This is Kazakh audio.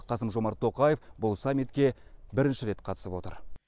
қасым жомарт тоқаев бұл саммитке бірінші рет қатысып отыр